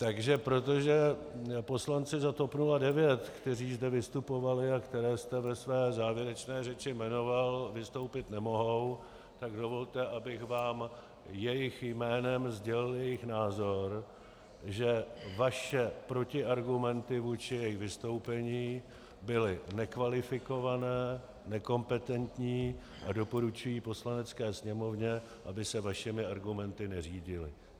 Takže protože poslanci za TOP 09, kteří zde vystupovali a které jste ve své závěrečné řeči jmenoval, vystoupit nemohou, tak dovolte, abych vám jejich jménem sdělil jejich názor, že vaše protiargumenty vůči jejich vystoupení byly nekvalifikované, nekompetentní, a doporučuji Poslanecké sněmovně, aby se vašimi argumenty neřídila.